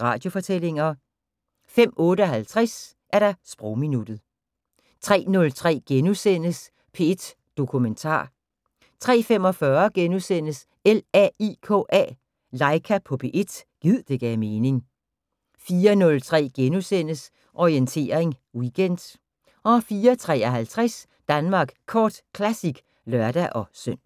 Radiofortællinger * 02:58: Sprogminuttet 03:03: P1 Dokumentar * 03:45: LAIKA på P1 – gid det gav mening * 04:03: Orientering Weekend * 04:53: Danmark Kort Classic (lør-søn)